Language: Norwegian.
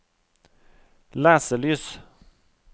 leselys